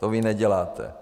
To vy neděláte.